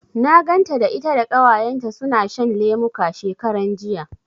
Na ganta da ita da Ƙawayenta suna shan lemuka, shekaran jiya.